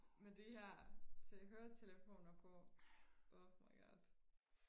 men det her tage høretelefoner på oh my god